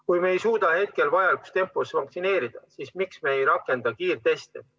Kui me ei suuda hetkel vajalikus tempos vaktsineerida, siis miks me ei rakenda kiirteste?